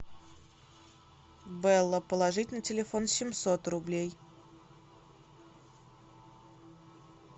белла положить на телефон семьсот рублей